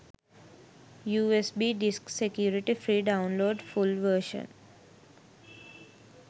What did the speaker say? usb disk security free download full version